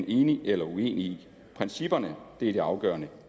enig eller uenig i principperne er det afgørende